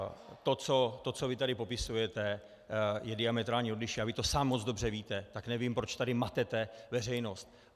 To, co vy tady popisujete, je diametrálně odlišné a vy to sám moc dobře víte, tak nevím, proč tady matete veřejnost.